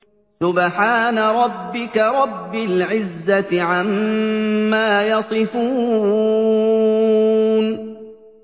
سُبْحَانَ رَبِّكَ رَبِّ الْعِزَّةِ عَمَّا يَصِفُونَ